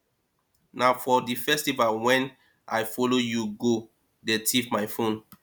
na for the festival wey i follow you go dey thief my phone